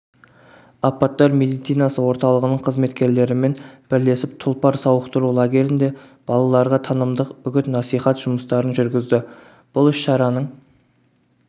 апаттар медицинасы орталығының қызметкерлерімен бірлесіп тұлпар сауықтыру лагерінде балаларға танымдық үгіт-насихат жұмыстарын жүргізді бұл іс-шараның